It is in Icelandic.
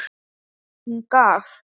Hún gaf.